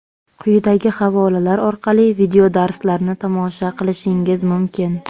Quyidagi havolalar orqali videodarslarni tomosha qilishingiz mumkin.